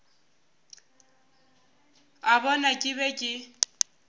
a bona ke be ke